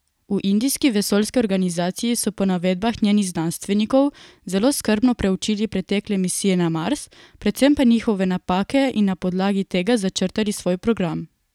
V indijski vesoljski organizaciji so po navedbah njenih znanstvenikov zelo skrbno preučili pretekle misije na Mars, predvsem pa njihove napake in na podlagi tega začrtali svoj program.